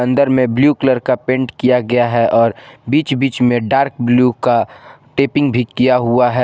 अंदर में blue colour का पेंट किया गया है और बीच बीच में डार्क ब्लू का टेपिंग भी किया हुआ है।